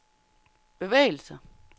bevægelser